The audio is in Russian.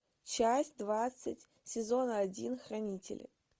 часть двадцать сезон один хранители